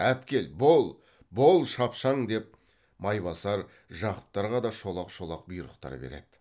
әпкел бол бол шапшаң деп майбасар жақыптарға да шолақ шолақ бұйрықтар береді